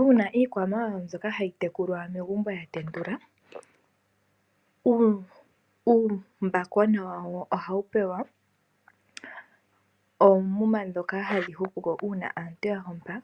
Uuna iikwamawawa mbyoka hayi tekulwa megumbo yatendula, uumbakona wawo ohawu pewa oomuma dhoka hadhi hupuko uuna aantu yahompa,